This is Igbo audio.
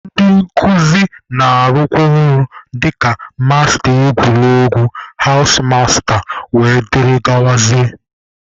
Ndị nkuzi na-arụkwa ọrụ dịka masta egwuregwu, hawụs masta wdg.